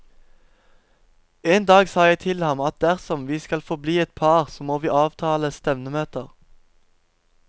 En dag sa jeg til ham at dersom vi skal forbli et par, så må vi avtale stevnemøter.